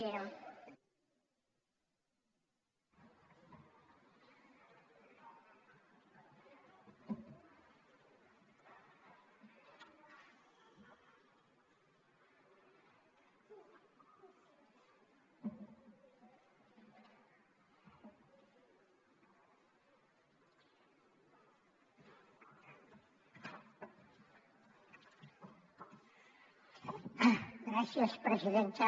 gràcies presidenta